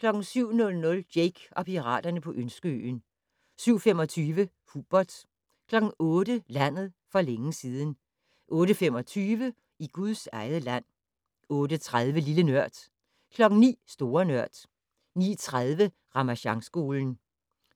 07:00: Jake og piraterne på Ønskeøen 07:25: Hubert 08:00: Landet for længe siden 08:25: I Guds eget land 08:30: Lille Nørd 09:00: Store Nørd 09:30: Ramasjangskolen